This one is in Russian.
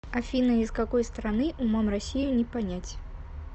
афина из какой страны умом россию не понять